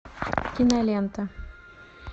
кинолента